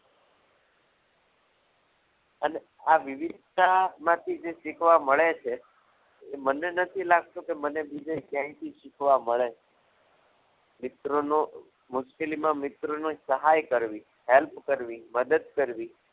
અને આ વિવિધતા માંથી જે શીખવા મળે છે એ મને નથી લાગતું કે મને બીજે ક્યાંય થી શીખવા મળે મિત્રોનો મુશ્કેલીમાં મિત્રોનો મિત્રોને સહાય કરવી help કરવી મદદ કરવી